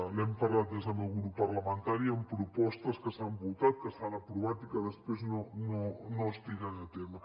n’hem parlat des del meu grup parlamentari amb propostes que s’han votat que s’han aprovat i que després no es tiren a terme